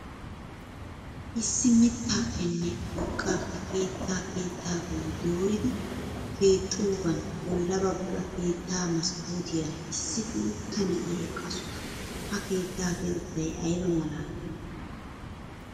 Issi mittaappenne urqaappe keettaa keettaa bolli dooridi keexxidoogaan bolla bagga keettaa maskootiyaara issi guutta na'iya eqaasu. Ha keettaa keexettay ayiba malaali!